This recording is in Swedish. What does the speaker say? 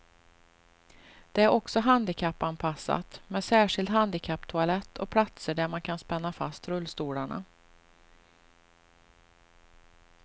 Det är också handikappanpassat med särskild handikapptoalett och platser där man kan spänna fast rullstolarna.